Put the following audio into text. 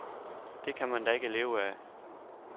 Det kan man da ikke leve af.